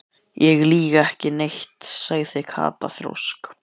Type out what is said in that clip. Ég lýg ekki neitt sagði Kata þrjósk.